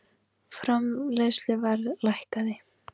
Framleiðsluverð lækkaði